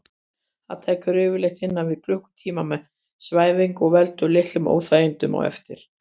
Það tekur yfirleitt innan við klukkutíma með svæfingu og veldur litlum óþægindum á eftir.